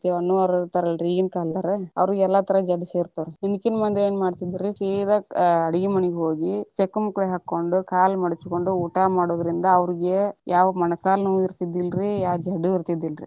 ಅನ್ನೋರ್ ಇರ್ತಾರಲ್ರಿ ಈಗಿನ ಕಾಲದವರು, ಅವ್ರಿಗೆ ಎಲ್ಲಾ ತರಹದ ಜಡ್ಡ ಸೇರ್ತಾವ್ ರೀ, ಹಿಂದಕಿನ ಮಂದಿ ಏನ ಮಾಡ್ತಿದ್ರರಿ ಸೀದಾ ಅಡಗಿ ಮನಿಗ ಹೋಗಿ ಚಕ್ಕಳ ಮುಕಳಿ ಹಾಕೊಂಡ ಕಾಲ ಮಡಚ್ಕೊಂಡ ಊಟಾ ಮಾಡುದರಿಂದ ಅವ್ರಿಗೆ ಯಾವಾದ ಮಣ ಕಾಲ ನೋವು ಇರ್ತಿದಿಲ್ಲಾರೀ, ಯಾವ ಜಡ್ಡು ಇರ್ತಿದಿಲ್ಲಾ ರೀ.